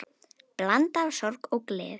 Blanda af sorg og gleði.